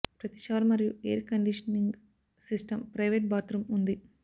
ప్రతి షవర్ మరియు air conditioning system private bathroom ఉంది